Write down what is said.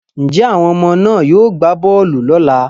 Njẹ́ àwọn ọmọ náà yóò gbá bọọlù lọ́ la?